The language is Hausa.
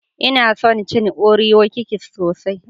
Nna son cin Oreo Kikis sosai.